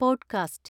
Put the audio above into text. podcast